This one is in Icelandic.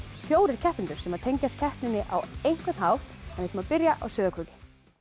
fjórir keppendur sem tengjast keppninni á einhvern hátt við ætlum að byrja á Sauðárkróki